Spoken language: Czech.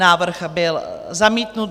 Návrh byl zamítnut.